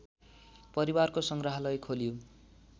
परिवारको सङ्ग्रहालय खोलियो